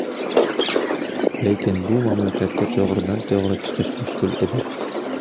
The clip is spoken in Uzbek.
Lekin bu mamlakatga to‘g‘ridan to‘g‘ri chiqish mushkul edi.